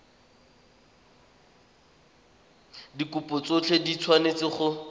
dikopo tsotlhe di tshwanetse go